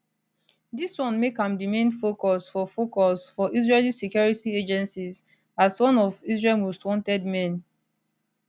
dis one make am di main focus for focus for israeli security agencies as one of israel most wanted men